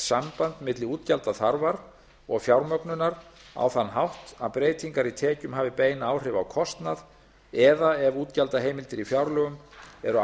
samband milli útgjaldaþarfar og fjármögnunar á þann hátt að breytingar í tekjum hafi bein áhrif á kostnað eða ef útgjaldaheimildir í fjárlögum eru